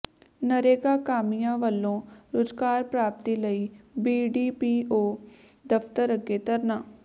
ਨਰੇਗਾ ਕਾਮਿਆਂ ਵੱਲੋਂ ਰੁਜ਼ਗਾਰ ਪ੍ਰਾਪਤੀ ਲਈ ਬੀਡੀਪੀਓ ਦਫ਼ਤਰ ਅੱਗੇ ਧਰਨਾ